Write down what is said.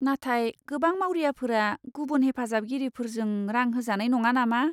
नाथाय गोबां मावरियाफोरा गुबुन हेफाजाबगिरिफोरजों रां होजानाय नङा नामा?